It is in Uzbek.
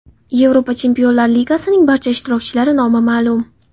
Yevropa Chempionlar Ligasining barcha ishtirokchilari nomi ma’lum.